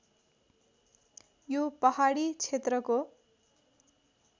यो पहाडी क्षेत्रको